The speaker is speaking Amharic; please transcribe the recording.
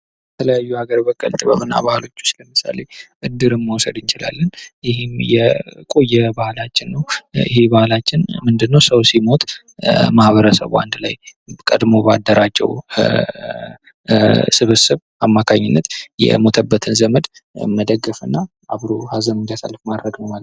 ባህል የጋራ እሴቶች፣ ወጎች፣ ቋንቋና እምነቶች ስብስብ ሲሆን ጥበብ ደግሞ እነዚህን እሴቶች በልዩ ልዩ መንገዶች ያንፀባርቃል።